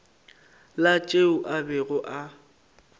la tšeo a bego a